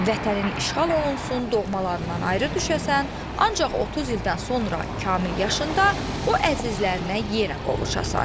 Vətənin işğal olunsun, doğmalarından ayrı düşəsən, ancaq 30 ildən sonra kamil yaşında o əzizlərinə yenə qovuşasan.